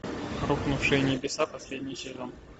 рухнувшие небеса последний сезон